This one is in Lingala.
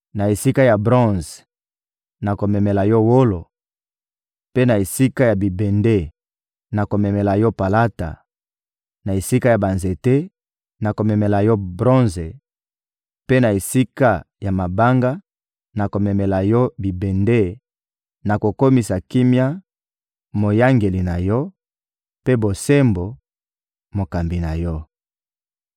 Na esika ya bronze, nakomemela yo wolo, mpe na esika ya bibende, nakomemela yo palata; na esika ya banzete, nakomemela yo bronze; mpe na esika ya mabanga, nakomemela yo bibende; nakokomisa Kimia moyangeli na yo, mpe Bosembo, mokambi na yo.